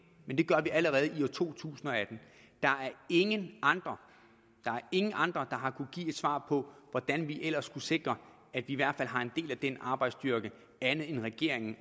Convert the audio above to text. gør vi allerede i to tusind og atten der er ingen andre der er ingen andre der har kunnet give et svar på hvordan vi ellers skulle sikre at vi i hvert fald har en del af den arbejdsstyrke end regeringen